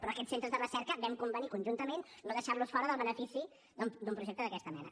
però aquests centres de recerca vam convenir conjuntament no deixar los fora del benefici d’un projecte d’aquesta mena